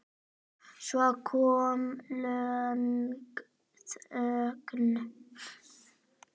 Svo kom löng þögn.